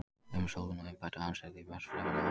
Um Sólon og umbætur hans er því margt fremur óljóst.